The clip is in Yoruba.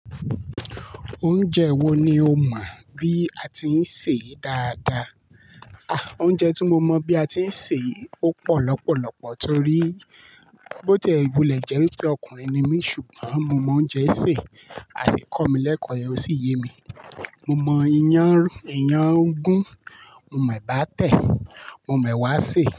Oúnjẹ wo ni o mọ bí a ti ń sè é dáadáa? A! Oúnjẹ tí mo mọ bí a ti ń sè é ó pọ̀ lọ́pọ̀lọ́pọ̀ torí bó ti ẹ́ wúlẹ̀ jẹ́ wi pé ọkùnrin ni mí ṣùgbọ́n mo mọ oúnjẹ sè a sì kọ́ mi lẹ́ẹ̀ko re o sì yé mi. Mo mọ ìyàn gú, mo mọ ẹ̀bà tẹ̀, mo mọ ewá sẹ̀